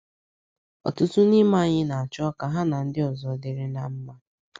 Ọtụtụ n’ime anyị na - achọ ka ha na ndị ọzọ dịrị ná ọzọ dịrị ná mma.